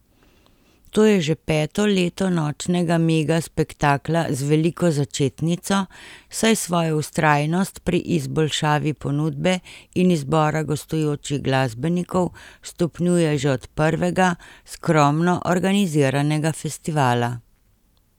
To je že peto leto nočnega mega spektakla z veliko začetnico, saj svojo vztrajnost pri izboljšavi ponudbe in izbora gostujočih glasbenikov stopnjuje že od prvega skromno organiziranega festivala.